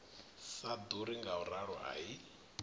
sa ḓuri ngauralo a i